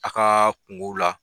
A ka kunkow la